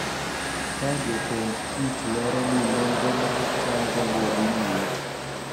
Ka jotend tich lero ni nonro mag chanjo go dhi nyime